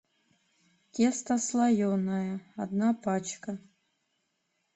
тесто слоеное одна пачка